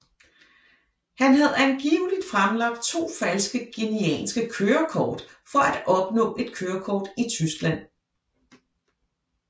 Han havde angiveligt fremlagt to falske guineanske kørekort for at opnå et kørekort i Tyskland